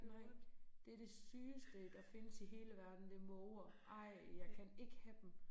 Nej det det sygeste der findes i hele verden det måger. Ej jeg kan ikke have dem